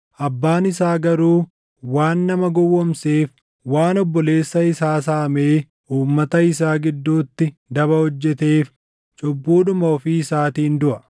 Abbaan isaa garuu waan nama gowwoomseef, waan obboleessa isaa saamee uummata isaa gidduutti daba hojjeteef cubbuudhuma ofii isaatiin duʼa.